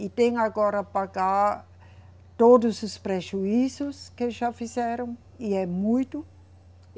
E tem agora pagar todos os prejuízos que já fizeram, e é muito.